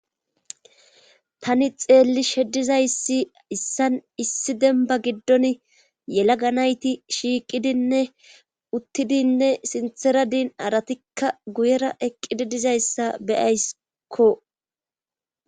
tani xeelli shedizayssi issan issi denba giddon yelaga nayti shiiqidinne uttidinne sinthera diin aratikka guyera eqqidi dizayssa beyayskko